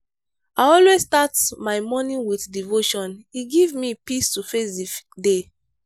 i always start my morning with devotion e give me peace to face di day.